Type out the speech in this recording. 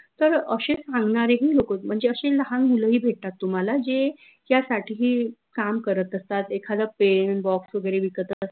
तर अशे सांगनारेही लोक म्हनजे अशे लाहान मुलं ही भेटतात तुम्हाला जे त्यासाठी ही काम करत असतात एखाद penbox वगैरे विकत